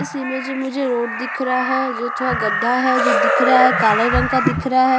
इस इमेज में मुझे रोड दिख रहा है जो थोड़ा गड्डा है जो दिख रहा है जो काले रंग का दिख रहा है।